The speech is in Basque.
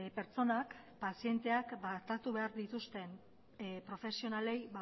pertsonak pazienteak tratatu behar dituzten profesionalei